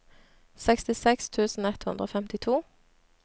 sekstiseks tusen ett hundre og femtito